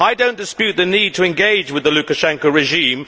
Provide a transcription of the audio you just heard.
I do not dispute the need to engage with the Lukashenko regime.